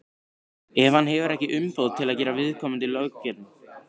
ef hann hefur ekki umboð til að gera viðkomandi löggerning.